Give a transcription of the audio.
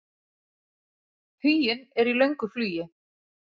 Huginn er í löngu flugi.